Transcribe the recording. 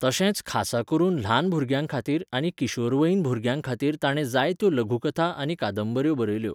तशेंच खासा करून ल्हान भुरग्यांखातीर आनी किशोरवयीन भुरग्यांखातीर ताणें जायत्यो लघुकथा आनी कादंबऱ्यो बरयल्यो.